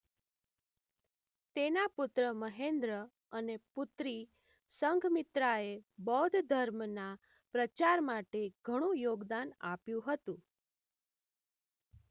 તેના પુત્ર મહેન્દ્ર અને પુત્રી સંઘમિત્રાએ બૌદ્ધ ધર્મના પ્રચાર માટે ઘણુ યોગદાન આપ્યું હતું